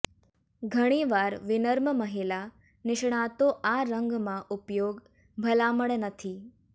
ઘણીવાર વિનમ્ર મહિલા નિષ્ણાતો આ રંગમાં ઉપયોગ ભલામણ નથી